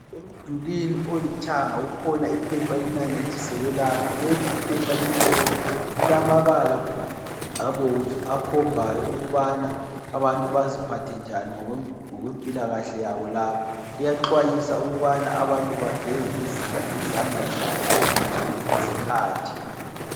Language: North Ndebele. Emdulini olithanga likhona iphepha elinanyathiselwe lapha. Leli iphepha limhlophe, lilamabala abomvu akhombayo ukubana abantu baziphathe njani ngokwempilakahle yabo lapha. Liyaxwayisa ukubana abantu bageze izandla zabo ngazozonke izikhathi.